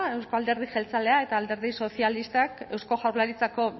euzko alderdi jeltzalea eta alderdi sozialista eusko jaurlaritzako